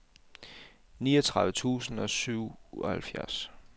niogtredive tusind og syvoghalvfjerds